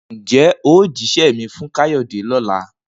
Ǹjé̩ o ó jísé̩ mi fún Káyó̩dè ló̩la?